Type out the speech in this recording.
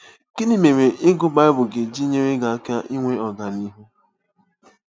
Gịnị mere ịgụ Baịbụl ga-eji nyere gị aka inwe ọganihu?